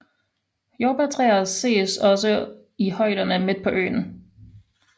Jordbærtræer ses også i højderne midt på øen